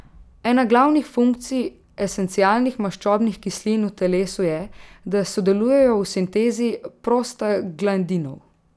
Ena glavnih funkcij esencialnih maščobnih kislin v telesu je, da sodelujejo v sintezi prostaglandinov.